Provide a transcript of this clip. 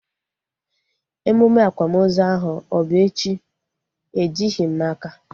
Emume akwamozu ahu ọ bụ echi? Ejighị m n'aka